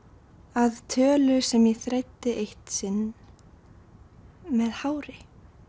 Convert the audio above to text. að tölu sem ég þræddi eitt sinn með hári